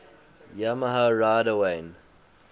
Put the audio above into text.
yamaha rider wayne